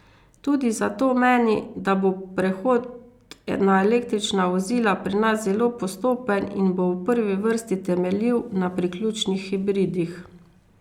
Tudi zato meni, da bo prehod na električna vozila pri nas zelo postopen in bo v prvi vrsti temeljil na priključnih hibridih.